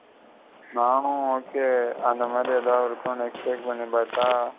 நானு okay அந்த மாதிரி எதாவ் இருக்கு .